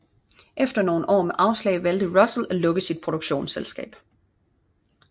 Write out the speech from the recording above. Efter nogen år med afslag valgte Russell at lukke sit produktionsselskab